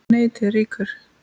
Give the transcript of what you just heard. NETIÐ LÝKUR